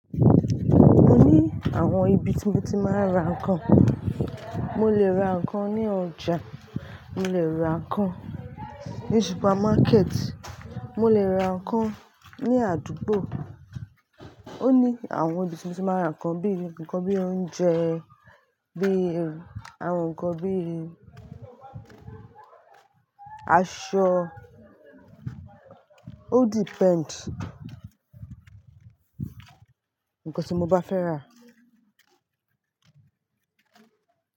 Mo ní àwọn ibi tí mo ti máa ń ra nnkan. Mo lè ra nnkan ní ọjà, mo lè ra nnkan ní supermarket, mo lè ra nnkan ní àdúgbò. Ó ní àwọn ibi tí mo ti máa ń ra nnkan bí i nnkan bí i oúnjẹ, bí i àwọn nnkan bí i aṣọ. Ó depend nǹkan tí mo bá fẹ́ rà.